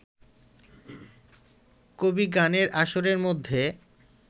কবিগানের আসরের মধ্যে